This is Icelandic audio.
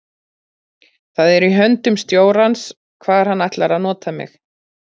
Það er í höndum stjórans hvar hann ætlar að nota mig.